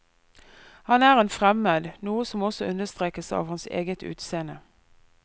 Han er en fremmed, noe som også understrekes av hans eget utseende.